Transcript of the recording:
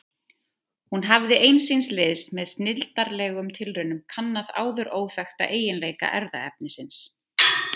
Hún hafði ein síns liðs með snilldarlegum tilraunum kannað áður óþekkta eiginleika erfðaefnisins.